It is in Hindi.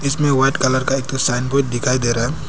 इसमें व्हाइट कलर का एक ठो साइनबोर्ड दिखाई दे रहा है।